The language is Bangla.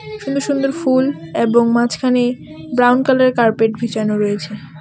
সুন্দর সুন্দর ফুল এবং মাঝখানে ব্রাউন কালারের কার্পেট বিছানো রয়েছে .